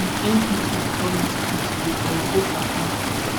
so if npp call me today today i go go perform